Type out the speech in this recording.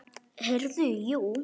Heyrðu, jú.